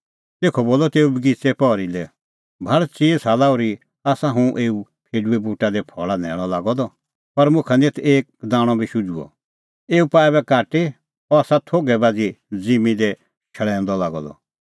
तेखअ बोलअ तेऊ बगिच़ेए पहरी लै भाल़ चिई साला ओर्ही आसा हुंह एऊ फेडूए बूटा दी फल़ा न्हैल़अ लागअ द पर मुखा निं एथ एक दाणअ बी शुझुअ एऊ पाआ ऐबै काटी अह आसा थोघै बाझ़ी ज़िम्मीं दी शल़ैऊआ लांदअ